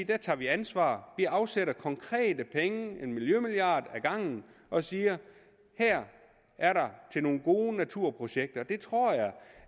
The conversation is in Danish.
der tager vi ansvar afsætter nogle konkrete penge en miljømilliard ad gangen og siger her er der til nogle gode naturprojekter jeg tror